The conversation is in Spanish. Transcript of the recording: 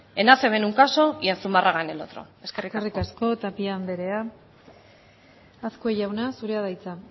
en acb en un caso y en zumarraga en el otro eskerrik asko eskerrik asko tapia andrea azkue jauna zurea da hitza